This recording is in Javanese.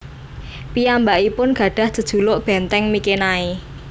Piyambakipun gadhah jejuluk Benteng Mikenai